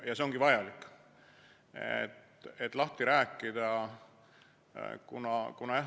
Ja see ongi vajalik, et teema lahti rääkida.